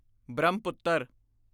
Brahmaputra